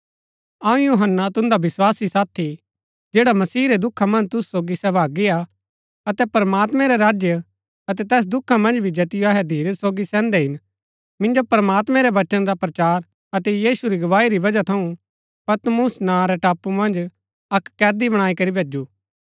अऊँ यूहन्‍ना तुन्दा विस्वासी साथी जैड़ा मसीह रै दुखा मन्ज तुसु सोगी सहभागी हा अतै प्रमात्मैं रै राज्य अतै तैस दुखा मन्ज भी जैतिओ अहै धीरज सोगी सैहन्दै हिन मिन्जो प्रमात्मैं रै वचन रा प्रचार अतै यीशु री गवाही री वजह थऊँ पतमुस नां रै टापू मन्ज अक्क कैदी बणाई करी भैजु